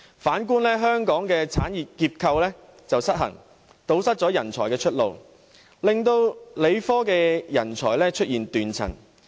反觀香港，產業結構失衡，堵塞人才出路，令理科人才出現斷層。